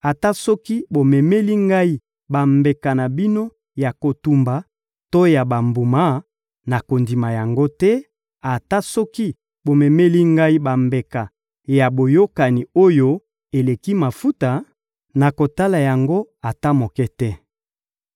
Ata soki bomemeli Ngai bambeka na bino ya kotumba to ya bambuma, nakondima yango te; ata soki bomemeli Ngai bambeka ya boyokani, oyo eleki mafuta, nakotala yango ata moke te.